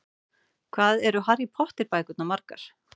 Hvað eru Harry Potter bækurnar margar?